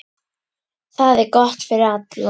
Það er gott fyrir alla.